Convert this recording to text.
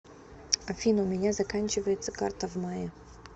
афина у меня заканчивается карта в мае